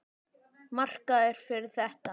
Markaður fyrir þetta?